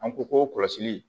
An ko k'o kɔlɔsili